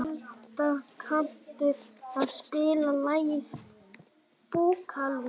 Folda, kanntu að spila lagið „Búkalú“?